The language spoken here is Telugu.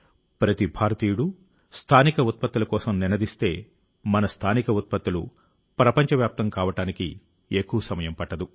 ప్రతి భారతీయుడు స్థానిక ఉత్పత్తుల కోసం నినదిస్తే మన స్థానిక ఉత్పత్తులు ప్రపంచవ్యాప్తం కావడానికి ఎక్కువ సమయం పట్టదు